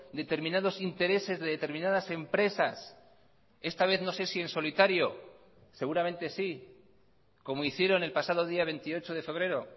determinados intereses de determinadas empresas esta vez no sé si en solitario seguramente sí como hicieron el pasado día veintiocho de febrero